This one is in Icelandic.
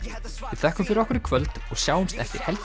við þökkum fyrir okkur í kvöld og sjáumst eftir helgi